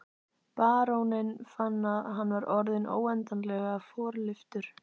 Baróninn fann að hann var orðinn óendanlega forlyftur.